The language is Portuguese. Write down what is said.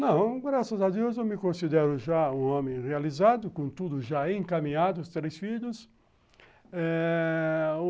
Não, graças a Deus, eu me considero já um homem realizado, com tudo já encaminhado, os três filhos eh...